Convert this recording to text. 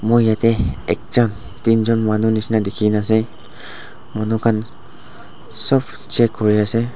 moi yatae ekjon teenjon manu nishina dikhina ase manu khan sop check kuriase.